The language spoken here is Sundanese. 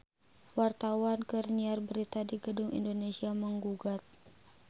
Wartawan keur nyiar berita di Gedung Indonesia Menggugat